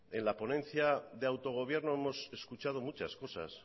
en la ponencia de autogobierno hemos escuchado muchas cosas